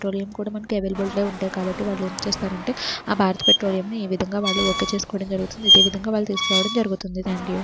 Petroleum కూడా మనకి available గా ఉంటాయి కాబట్టి వాళ్ళు వచ్చేస్తారు అంటే ఆ భారతి పెట్రోలియం ఏ విధంగా వాళ్ళు ఓకే చేసుకోవడం జరుగుతుంది. అదేవిధంగా వాళ్లు తీసుకురావడం జరుగుతుంది థాంక్యూ .